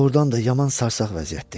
doğrudan da yaman sarsağ vəziyyətdir,